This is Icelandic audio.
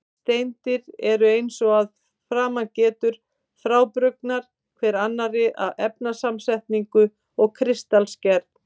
Steindir eru, eins og að framan getur, frábrugðnar hver annarri að efnasamsetningu og kristalgerð.